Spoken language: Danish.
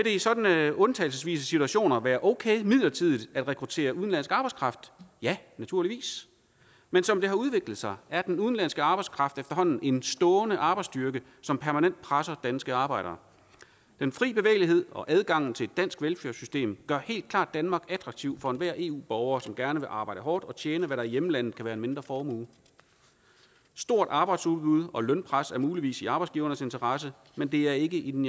i sådanne undtagelsesvise situationer være okay midlertidigt at rekruttere udenlandsk arbejdskraft ja naturligvis men som det har udviklet sig er den udenlandske arbejdskraft efterhånden en stående arbejdsstyrke som permanent presser danske arbejdere den fri bevægelighed og adgangen til et dansk velfærdssystem gør helt klart danmark attraktivt for enhver eu borger som gerne vil arbejde hårdt og tjene hvad der i hjemlandet kan være en mindre formue stort arbejdsudbud og lønpres er muligvis i arbejdsgivernes interesse men det er ikke i den